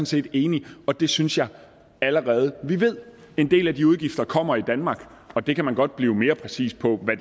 set enig i og det synes jeg allerede vi ved en del af de udgifter kommer i danmark og det kan man godt blive mere præcis på hvad